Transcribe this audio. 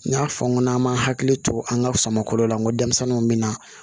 N y'a fɔ n ko n'an m'a hakili to an ka samakɔ la n ko denmisɛnninw bɛ na